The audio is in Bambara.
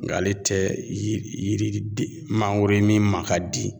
Nga ale tɛ yiri yiri den mangoro ye min ma ka di